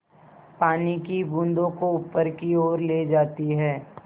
पानी की बूँदों को ऊपर की ओर ले जाती है